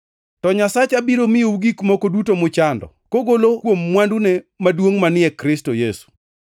To Nyasacha biro miyou gik moko duto muchando, kogolo kuom mwandune maduongʼ manie Kristo Yesu.